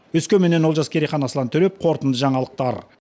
өскеменнен олжас керейхан аслан төрепов қорытынды жаңалықтар